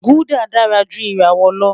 Gulder dara ju irawọ lọ